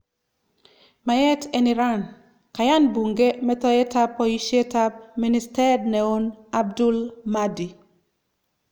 Mayyet en Iran :Kayaan buunke metoetab boyisyet ab ministeet neon Abdul Mahdi